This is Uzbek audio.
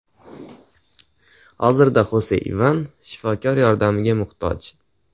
Hozirda Xose Ivan shifokor yordamiga muhtoj.